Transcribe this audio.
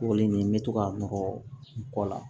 Kɔkɔli nunnu n bɛ to k'a nɔ la